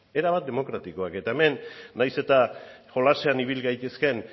erabat demokratikoak eta hemen nahiz eta jolasean ibil gaitezken